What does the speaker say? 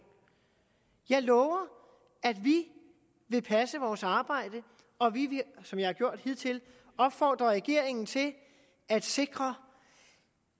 jeg lover at vi vil passe vores arbejde og vi vil som jeg har gjort hidtil opfordre regeringen til at sikre